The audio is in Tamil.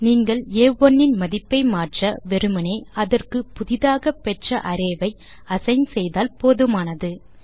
நீங்கள் ஆ1 இன் மதிப்பை மாற்ற வெறுமனே அதற்கு புதியதாக பெற்ற அரே ஐ அசைன் செய்தால் போதுமானது